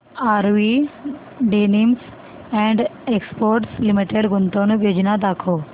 RV denims and exports limited गुंतवणूक योजना दाखव